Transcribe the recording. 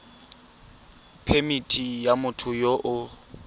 phemithi ya motho yo o